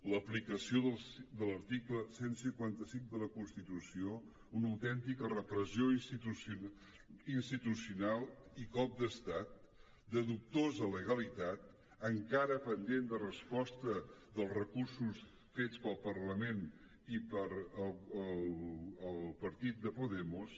l’aplicació de l’article cent i cinquanta cinc de la constitució una autèntica repressió institucional i cop d’estat de dubtosa legalitat encara pendent de resposta dels recursos fets pel parlament i pel partit de podemos